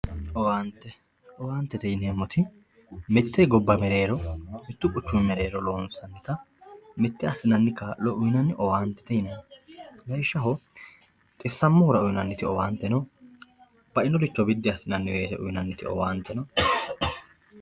Owaante, owaantete yineemmoti mite gobba mereero mitu quchumi mereero mite assinanni kaa'lo uyinanni owaantete yinanni lawishshaho xissamohura uyinanniti owaante no bainoricho biddi assinanni uyinanniti owaante no.